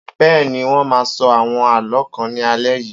Bẹ́ẹ̀ni, wọn máa sọ àwọn àlọ́ kan ní alé yìí.